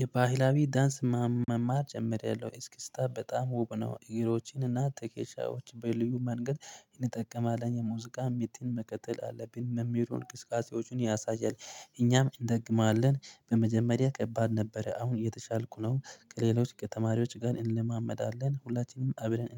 የባህላዊ ዳንስ መማር ጀምራለው። እስክስታ በጣም ውብ ነው እግሮችን እና ትከሻዎች በልዩ መንገድ እንጠቀማለን። የሙዚቃ ምትን መቀጠል አለብን መምህሩ እንቅስቃሴዎችን ያሳያል። እኛም እንደግማለን በመጀመሪያ ከባድ ነበረ አሁን እየተሻልኩ ነው። ከሌሎች ከተማሪዎች ጋር እንለማመዳለን። ሁላችንም አብረን